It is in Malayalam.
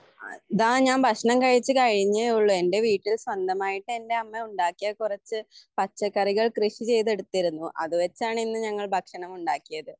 ഇതാ ഞാൻ ഭക്ഷണം കഴിച്ചുകഴിഞ്ഞേ ഒള്ളു എന്റെ വീട്ടിൽ സ്വന്തമായിട്ട് എൻ്റെ അമ്മ ഉണ്ടാക്കിയ കുറച്ചു പച്ചക്കറികൾ കൃഷി ചെയ്തെടുത്തിരുന്നു അതുവെച്ചാണ് ഇന്ന് ഞങ്ങൾ ഭക്ഷണം ഉണ്ടാക്കിയത്